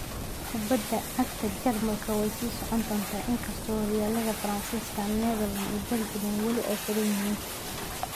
Kubadda cagta Jarmalku way sii socon doontaa inkasta oo horyaalada Faransiiska, Netherland iyo Belgian ay wali xidhan yihiin.